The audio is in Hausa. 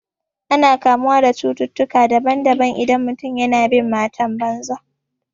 Ana kamuwa da cututtukan daban daban idan mutum yana bin matan banza